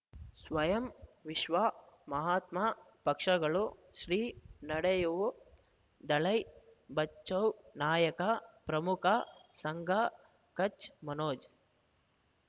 ಸ್ವಯಂ ವಿಶ್ವ ಮಹಾತ್ಮ ಪಕ್ಷಗಳು ಶ್ರೀ ನಡೆಯೂ ದಲೈ ಬಚೌ ನಾಯಕ ಪ್ರಮುಖ ಸಂಘ ಕಚ್ ಮನೋಜ್